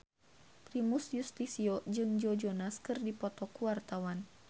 Primus Yustisio jeung Joe Jonas keur dipoto ku wartawan